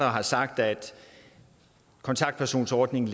har sagt at kontaktpersonsordningen